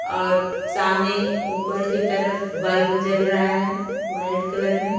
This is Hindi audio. और सामने ऊपर की तरफ बल्ब जल रहा है वाइट कलर में--